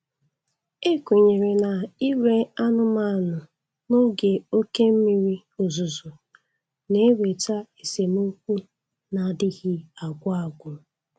Ekwenyere na ire anụ anụmanụ n'oge oke mmiri ozuzo na-eweta esemokwu na-adịghị agwụ agwụ.